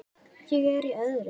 Ég er í öðru.